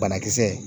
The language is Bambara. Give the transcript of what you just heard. Banakisɛ